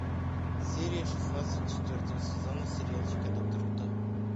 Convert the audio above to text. серия шестнадцать четвертого сезона сериальчика доктор кто